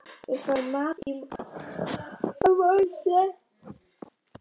Við fáum mat að morgni.